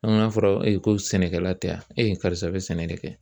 An k'a fɔra e ko sɛnɛkɛla tɛ yan e ye karisa bɛ sɛnɛ de kɛ